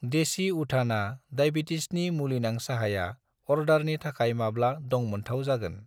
देसि उथाना दायबेटिसनि मुलिनां साहाया अर्डारनि थाखाय माब्ला दंमोनथाव जागोन?